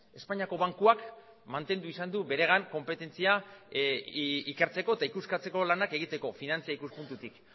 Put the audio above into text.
espainiako bankuak mantendu izan du beregan konpetentzia ikertzeko eta ikuskatzeko lanak egiteko finantza ikuspuntutik